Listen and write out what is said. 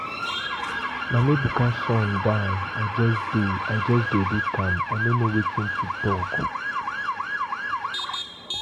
Mama Ebuka son die. I just dey,I just dey look am, I no know wetin to talk